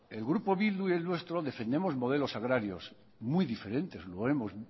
el grupo bildu y el nuestro defendemos modelos agrarios muy diferentes y lo hemos